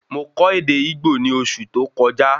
Mo kọ ède Igbo ní oṣù tó kọjá